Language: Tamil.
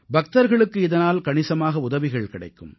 பக்தர்களுக்கு இதனால் கணிசமாக உதவிகள் கிடைக்கும்